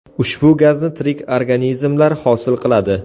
Ushbu gazni tirik organizmlar hosil qiladi.